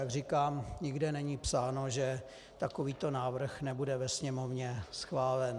Jak říkám, nikde není psáno, že takovýto návrh nebude ve Sněmovně schválen.